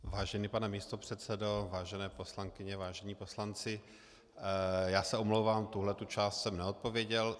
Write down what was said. Vážený pane místopředsedo, vážené poslankyně, vážení poslanci, já se omlouvám, tuhle část jsem neodpověděl.